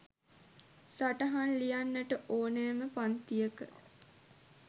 සටහන් ලියන්නට ඕනෑම පංතියක